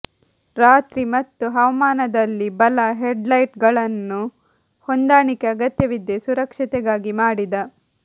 ರಾತ್ರಿ ಮತ್ತು ಹವಾಮಾನದಲ್ಲಿ ಬಲ ಹೆಡ್ಲೈಟ್ಗಳನ್ನು ಹೊಂದಾಣಿಕೆ ಅಗತ್ಯವಿದೆ ಸುರಕ್ಷತೆಗಾಗಿ ಮಾಡಿದ